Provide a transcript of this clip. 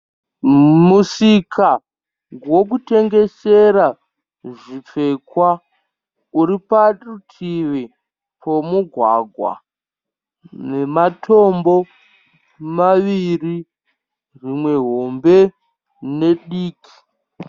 Musika wokutengesera zvipfekwa uri parutivi pomugwagwa nematombo maviri rimwe hombe nediki.